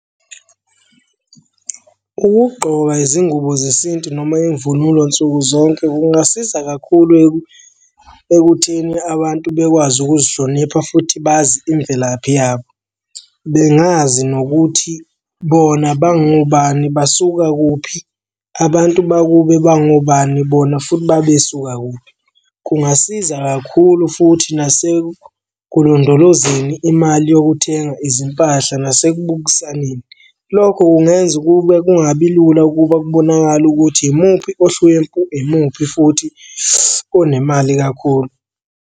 Ukugqoka izingubo zesintu noma imvunulo nsuku zonke kungasiza kakhulu ekutheni abantu bekwazi ukuzihlonipha futhi bazi imvelaphi yabo. Bengazi nokuthi bona bangobani basuka kuphi, abantu bakubo bangobani bona futhi babesuka kuphi. Kungasiza kakhulu futhi nasekulondolozeni imali yokuthenga izimpahla nasekubukisaneni. Lokho kungenza ukube kungabi lula ukuba kubonakale ukuthi imuphi ohlwempu, imuphi futhi onemali kakhulu.